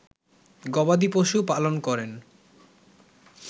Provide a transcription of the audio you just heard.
গবাদি পশু পালন করেন